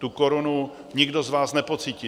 Tu korunu nikdo z vás nepocítí.